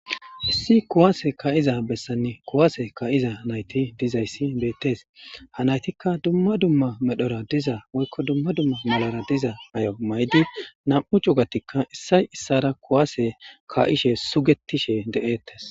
issi kuwase ka7iza bessanne kuwaase ka7iza nayti dizayssi beettes ha naytikka dumma dumma medhora diza woykko dumma dumma malara diza ay7o maydi nam7u cugatikka issay issara kuwase kaa7ishe sugetishe de7ettes